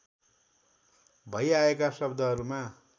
भई आएका शब्दहरूमा